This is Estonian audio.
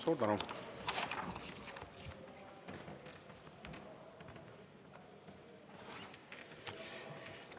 Suur tänu!